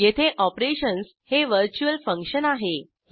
येथे ऑपरेशन्स हे virtual function आहे